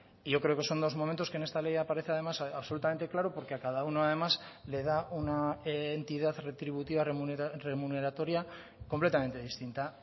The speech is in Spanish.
y yo creo que son dos momentos que en esta ley aparece además absolutamente claro porque a cada uno además le da una entidad retributiva remuneratoria completamente distinta